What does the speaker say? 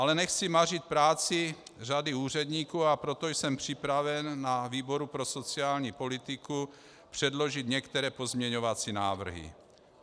Ale nechci mařit práci řady úředníků, a proto jsem připraven na výboru pro sociální politiku předložit některé pozměňovací návrhy.